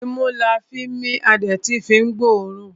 Imú la fín mí a dẹ̀ tún fín gbọ́ ọ̀ọ́rùn.